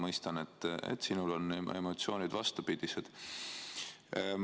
Mõistan, et sinul on emotsioonid vastupidised.